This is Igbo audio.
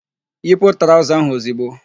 Yipu traụza ahụ ozigbo!